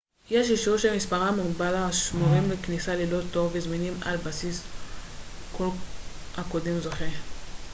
יש אישורים שמספרם מוגבל השמורים לכניסה ללא תור וזמינים על בסיס כל הקודם זוכה